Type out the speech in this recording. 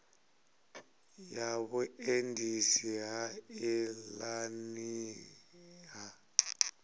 ya vhuendisi ha nḓilani ha